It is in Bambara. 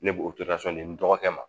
Ne b'o n dɔgɔkɛ ma